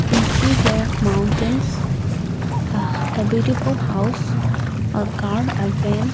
we see here mountains aah a beautiful house a car a van.